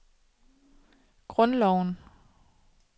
grundloven